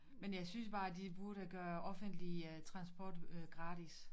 Men jeg synes bare de burde gøre offentlig øh transport øh gratis